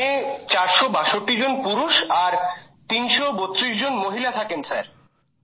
গ্রামে ৪৬২জন পুরুষ আর ৩৩২ জন মহিলা থাকেন স্যার